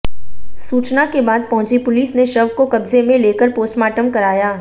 सूचना के बाद पहुंची पुलिस ने शव को कब्जे में लेकर पोस्टमार्टम कराया